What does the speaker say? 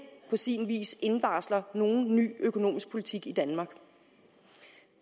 på sin vis indvarsler nogen ny økonomisk politik i danmark